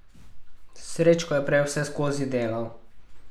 Srečko je prej vseskozi delal.